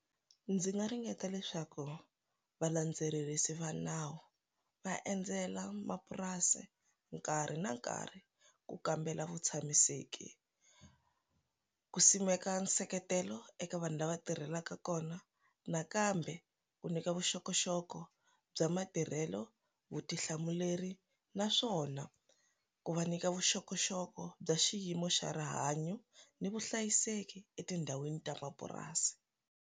Ndzi nga ringeta leswaku va landzelerisa va nawu va endzela mapurasi nkarhi na nkarhi ku kambela vu tshamiseki ku simeka nseketelo eka vanhu lava tirhelaka kona nakambe ku nyika vuxokoxoko bya matirhelo vutihlamuleri naswona ku va nyika vuxokoxoko bya xiyimo xa rihanyo ni vuhlayiseki etindhawini ta mapurasi.